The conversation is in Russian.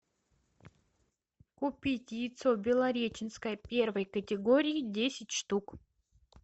купить яйцо белореченское первой категории десять штук